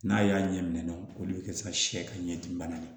N'a y'a ɲɛ minɛ o de bɛ kɛ sayɛ ka ɲɛ dimi bana ye